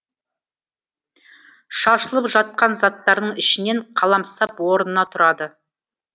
шашылып жатқан заттардың ішінен қаламсап орнынан тұрады